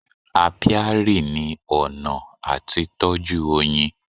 Apiary ni ọ̀nà àti tọ́jú oyin.